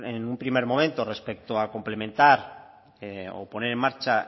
en un primer momento respecto a complementar o poner en marcha